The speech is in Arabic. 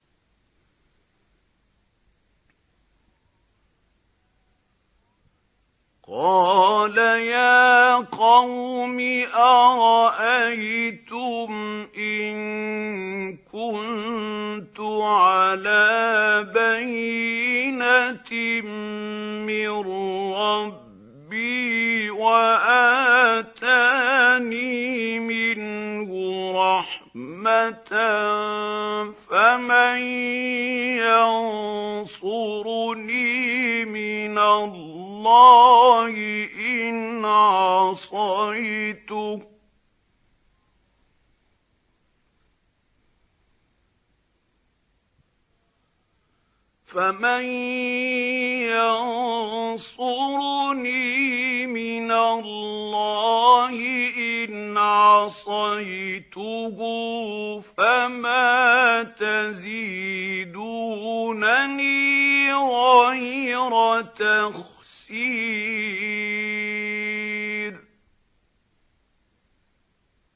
قَالَ يَا قَوْمِ أَرَأَيْتُمْ إِن كُنتُ عَلَىٰ بَيِّنَةٍ مِّن رَّبِّي وَآتَانِي مِنْهُ رَحْمَةً فَمَن يَنصُرُنِي مِنَ اللَّهِ إِنْ عَصَيْتُهُ ۖ فَمَا تَزِيدُونَنِي غَيْرَ تَخْسِيرٍ